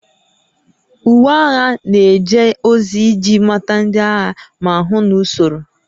Uwe agha na-eje ozi iji mata ndị agha ma hụ na usoro